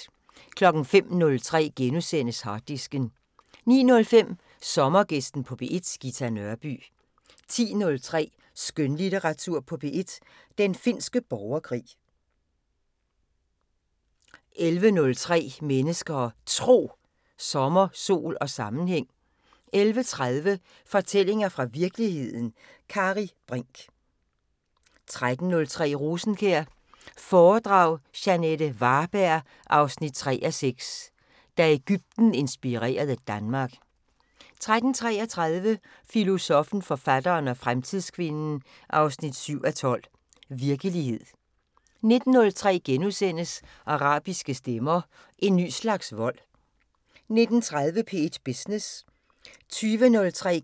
05:03: Harddisken * 09:05: Sommergæsten på P1: Ghita Nørby 10:03: Skønlitteratur på P1: Den finske borgerkrig 11:03: Mennesker og Tro: Sommer, sol og sammenhæng 11:30: Fortællinger fra virkeligheden – Kari Brinch 13:03: Rosenkjær foredrag – Jeanette Varberg 3:6: Da Egypten inspirerede Danmark 13:33: Filosoffen, forfatteren og fremtidskvinden 7:12: Virkelighed 19:03: Arabiske stemmer: En ny slags vold * 19:30: P1 Business 20:03: